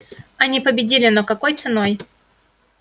они победили но какой ценой